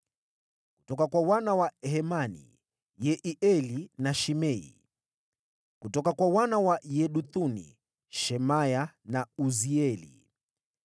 kutoka kwa wana wa Hemani, Yehieli na Shimei; kutoka kwa wana wa Yeduthuni, Shemaya na Uzieli.